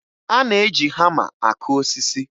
A na-eji hama akụ osisi